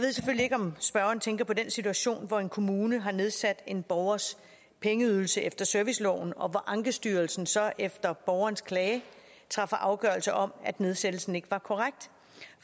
ikke om spørgeren tænker på den situation hvor en kommune har nedsat en borgers pengeydelse efter serviceloven og hvor ankestyrelsen så efter borgerens klage træffer afgørelse om at nedsættelsen ikke var korrekt